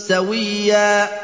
سَوِيًّا